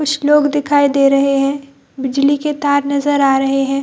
कुछ लोग दिखाई दे रहे हैं बिजली के तार नजर आ रहे हैं ।